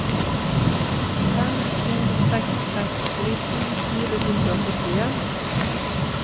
fem to seks seks nitten fire hundre og førtien